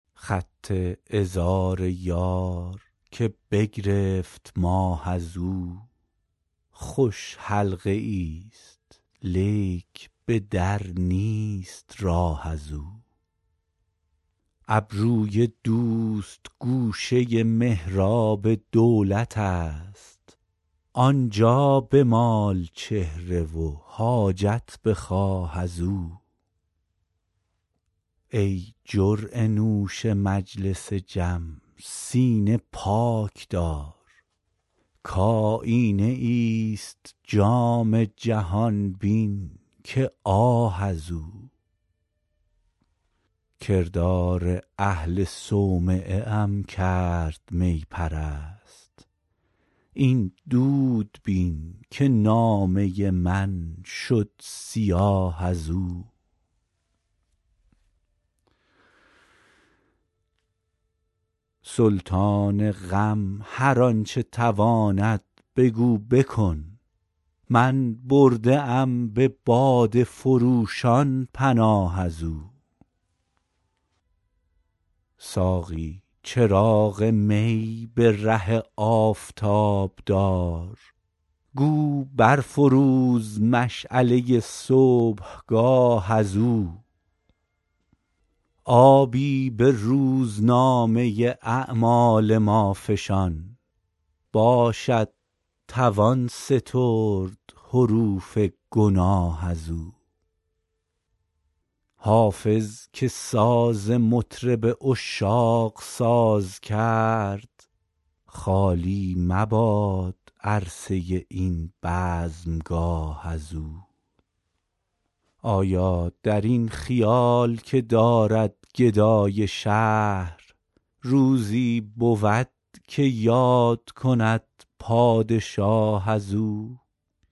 خط عذار یار که بگرفت ماه از او خوش حلقه ای ست لیک به در نیست راه از او ابروی دوست گوشه محراب دولت است آن جا بمال چهره و حاجت بخواه از او ای جرعه نوش مجلس جم سینه پاک دار کآیینه ای ست جام جهان بین که آه از او کردار اهل صومعه ام کرد می پرست این دود بین که نامه من شد سیاه از او سلطان غم هر آن چه تواند بگو بکن من برده ام به باده فروشان پناه از او ساقی چراغ می به ره آفتاب دار گو بر فروز مشعله صبحگاه از او آبی به روزنامه اعمال ما فشان باشد توان سترد حروف گناه از او حافظ که ساز مطرب عشاق ساز کرد خالی مباد عرصه این بزمگاه از او آیا در این خیال که دارد گدای شهر روزی بود که یاد کند پادشاه از او